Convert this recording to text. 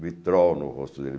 Vitrol no rosto dele.